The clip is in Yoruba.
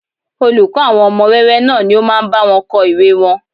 Olùkọ́ àwọn ọmọ wẹ́wẹ́ náà ni ó máa ń bá wọn kọ ìwée wọn